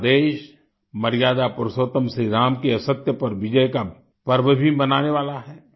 पूरा देश मर्यादा पुरुषोत्तम श्री राम की असत्य पर विजय का पर्व भी मनाने वाला है